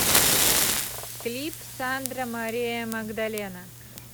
клип сандра мария магдалена